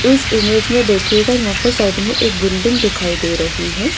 इस इमेज में देखिएगा यहां पर साइड में एक बिल्डिंग दिखाई दे रही है।